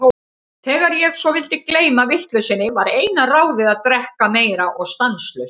Þegar ég svo vildi gleyma vitleysunni, var eina ráðið að drekka meira og stanslaust.